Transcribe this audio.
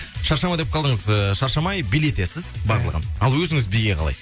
шаршама деп қалдыңыз ыыы шаршамай билетесіз барлығын ал өзіңіз биге қалайсыз